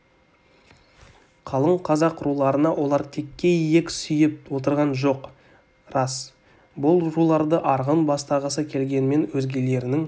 қалың қазақ руларына олар текке иек сүйеп отырған жоқ рас бұл руларды арғын бастағысы келгенмен өзгелерінің